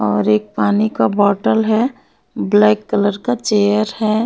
और एक पानी का बोतल है ब्लैक कलर का चेयर है।